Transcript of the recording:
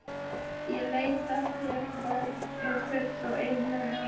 Ég veit að þér er full og einlæg alvara.